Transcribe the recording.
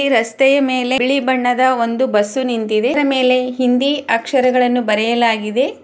ಈ ರಸ್ತೆಯ ಮೇಲೆ ಬಿಳಿ ಬಣ್ಣದ ಒಂದು ಬಸ್ಸು ನಿಂತಿದೆ ಅದರ ಮೇಲೆ ಹಿಂದಿ ಅಕ್ಷರಗಳನ್ನು ಬರೆಯಲಾಗಿದೆ.